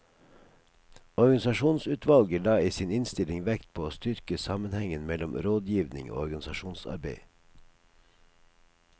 Organisasjonsutvalget la i sin innstilling vekt på å styrke sammenhengen mellom rådgivning og organisasjonsarbeid.